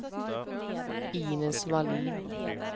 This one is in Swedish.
Inez Wallin